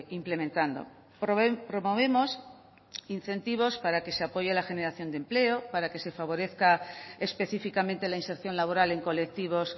implementando promovemos incentivos para que se apoye la generación de empleo para que se favorezca específicamente la inserción laboral en colectivos